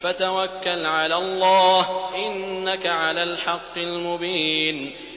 فَتَوَكَّلْ عَلَى اللَّهِ ۖ إِنَّكَ عَلَى الْحَقِّ الْمُبِينِ